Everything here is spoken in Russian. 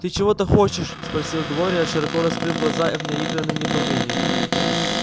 ты чего-то хочешь спросила глория широко раскрыв глаза в наигранном недоумении